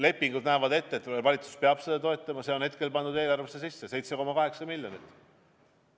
Lepingud näevad ette, et valitsus peab seda toetama, ja see on hetkel pandud eelarvesse sisse: 7,8 miljonit.